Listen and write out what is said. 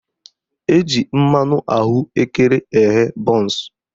Eji mmanụ ahụekere eghe bọnsụ